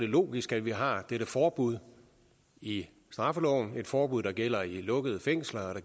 logisk at vi har dette forbud i straffeloven et forbud der gælder i lukkede fængsler